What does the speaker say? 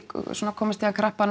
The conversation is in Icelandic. komist í hann krappan